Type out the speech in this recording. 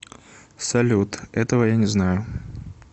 салют этого я не знаю